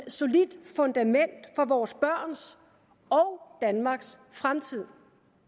solidt fundament for vores børns og danmarks fremtid